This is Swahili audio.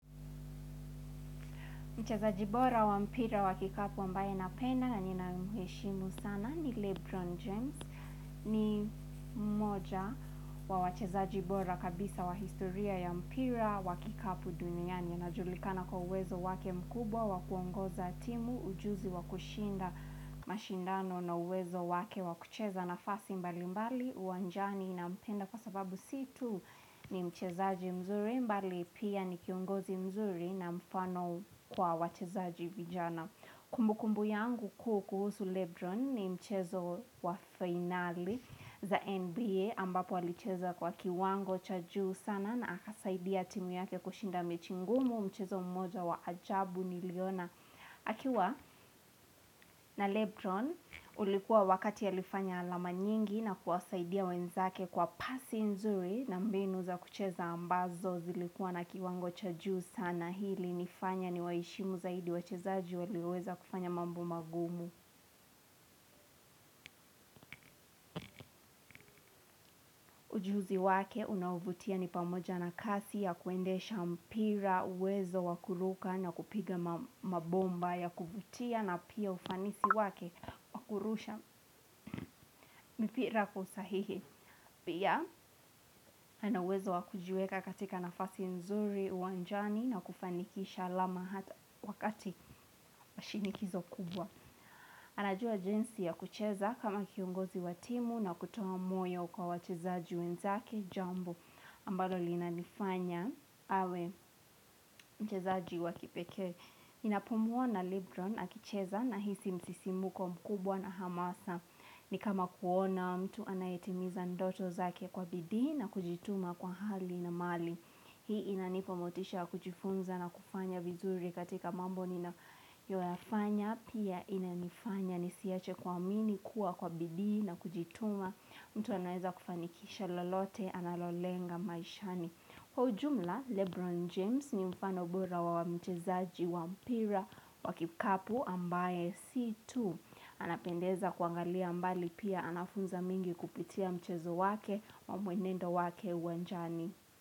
Mchezaji bora wa mpira wa kikapu ambaye napenda na ninamheshimu sana ni Lebron James. Ni mmoja wa wachezaji bora kabisa wa historia ya mpira wa kikapu duniani. Najulikana kwa uwezo wake mkubwa wa kuongoza timu ujuzi wa kushinda mashindano na uwezo wake wa kucheza nafasi mbali mbali. Uwanjani nampenda kwa sababu si tu ni mchezaji mzuri mbali pia ni kiongozi mzuri na mfano kwa wachezaji vijana Kumbu kumbu yangu kuu kuhusu Lebron ni mchezo wa fainali za NBA ambapo alicheza kwa kiwango cha juu sana na akasaidia timu yake kushinda mechi ngumu. Mchezo mmoja wa ajabu niliona akiwa na Lebron ulikuwa wakati alifanya alama nyingi na kuwasaidia wenzake kwa pasi nzuri na mbinu za kucheza ambazo zilikuwa na kiwango cha juu sana hi ilinifanya niwaheshimu zaidi wachezaji walioweza kufanya mambo magumu Ujuzi wake unaovutia ni pamoja na kasi ya kuendesha mpira uwezo wa kuruka na kupiga ma mabomba ya kuvutia na pia ufanisi wake wakurusha mipira kwa usahihi. Pia ana uwezo wakujiweka katika nafasi nzuri uwanjani na kufanikisha alama hata wakati wa shinikizo kubwa. Anajua jinsi ya kucheza kama kiongozi wa timu na kutoa moyo kwa wachezaji wenzake jambo ambalo linanifanya awe mchezaji wa kipekee. Ninapumuwa na Libron akicheza nahisi msisimuko mkubwa na hamasa. Ni kama kuona mtu anayetimiza ndoto zake kwa bidii na kujituma kwa hali na mali. Hii inanipa motisha ya kujifunza na kufanya vizuri katika mambo nina yoyafanya pia inanifanya nisiache kuamini kuwa kwa bidii na kujituma mtu anaeza kufanikisha lolote analolenga maishani. Kwa ujumla Lebron James ni mfano bora wa mchezaji wa mpira wa kikapu ambaye si tu Anapendeza kuangalia mbali pia anafunza mengi kupitia mchezo wake ma mwenendo wake uwanjani.